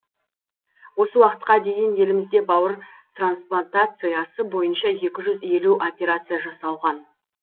осы уақытқа дейін елімізде бауыр трансплантациясы бойынша екі жүз елу операция жасалған